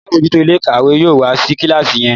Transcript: àlabòjuto Ilé-ìkàwé yóò wá sí kilasi yín